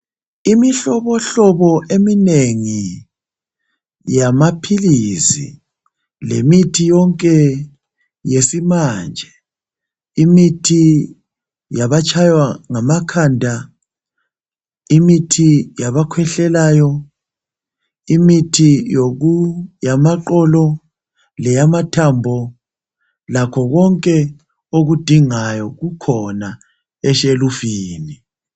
Imihlobohlobo eminengi yamaphilisi lemithi yonke yesimanje. Imithi yabatshaywa ngamakhanda, imithi yabakhwehlelayo, imithi yamaqolo leyamathambo lakho konke okudingayo kukhona eshulufini.